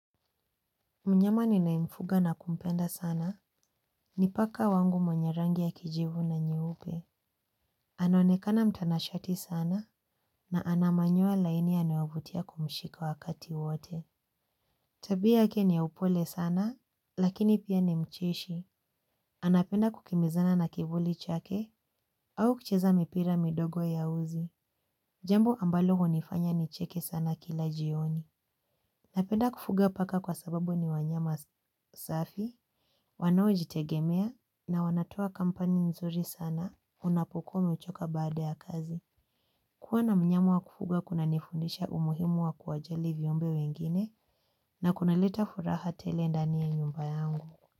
Mnyama ninayemfuga na kumpenda sana. Ni paka wangu mwenye rangi ya kijivu na nyeupe. Anaonekana mtanashati sana na ana manyoa laini yanayovutia kumshika wakati wote. Tabia yake ni ya upole sana lakini pia ni mcheshi. Anapenda kukimbizana na kivuli chake au kucheza mipira midogo ya uzi. Jambo ambalo hunifanya nicheke sana kila jioni. Napenda kufuga paka kwa sababu ni wanyama safi. Wanaojitegemea na wanatoa kampani nzuri sana unapokuwa umechoka baada ya kazi. Kuwa na mnyama wa kufuga kunanifundisha umuhimu wa kuwajali viumbe wengine na kunaleta furaha tele ndani ya nyumba yangu.